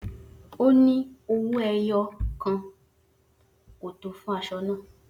O ni owoẹyo kan ko to fun aṣọ naa.